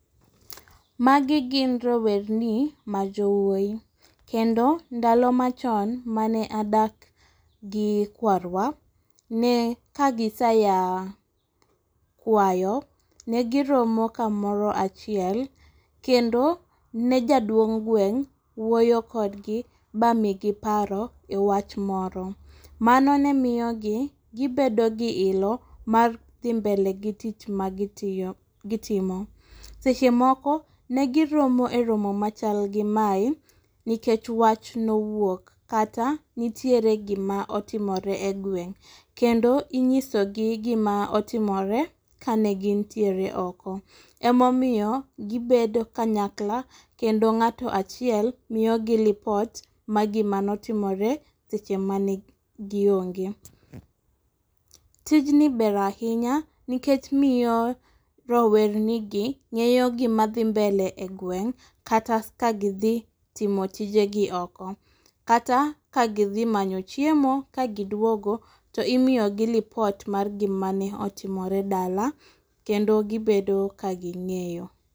Magi gin rowerni ma jowuoyi kendo ndalo machon mane adak gi kwarwa ne kagiseya kwayo , ne giromo kamoro achiel kendo ne jaduong' gweng' wuoyo kodgi ba migi paro ewach moro . Mano ne miyo gi gibedo gi ilo mar dhi mbele gi tich ma gitiyo gitimo. Seche moko ne giromo e romo machal gi mae nikech wach nowuok kata nitiere gima otimore e gweng' kendo inyiso gi gima otimore kane gintiere oko. Emomiyo gibedo kanyakla kendo ng'ato achiel miyo gi lipot mar gima notimre seche mane gionge. Tijni ber ahinya nikech miyo rowerni gi ng'eyo gima dhi mbele e gweng kata ka gidhi timo tijegi oko. Kata ka gidhi manyi chiemo ka giduogo to imiyo gi lipot mar gima ne otimore dala kendo gibedo ka ging'eyo.